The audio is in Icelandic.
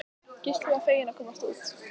Gísli varð feginn að komast út.